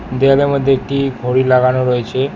দেয়ালের মধ্যে একটি ঘড়ি লাগানো রয়েছে।